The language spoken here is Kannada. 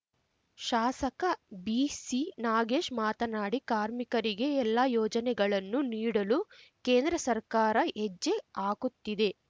ಶಾಸಕ ಬಿಸಿನಾಗೇಶ್ ಮಾತನಾಡಿ ಕಾರ್ಮಿಕರಿಗೆ ಎಲ್ಲಾ ಯೋಜನೆಗಳನ್ನು ನೀಡಲು ಕೇಂದ್ರ ಸರ್ಕಾರ ಹೆಜ್ಜೆ ಹಾಕುತ್ತಿದೆ